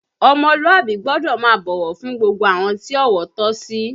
Ọmọlúàbí gbọ́dọ̀ máa bọ̀wọ̀ fún gbogbo àwọn tí ọ̀wọ̀ tọ́ sí